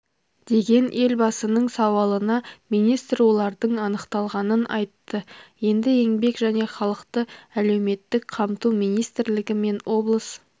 деген елбасының сауалына министр олардың анықталғанын айтты енді еңбек және халықты әлеуметтік қамту министрлігі мен облыс